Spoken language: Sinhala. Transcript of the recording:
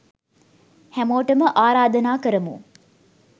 හැමෝටම ආරාධනා කරමු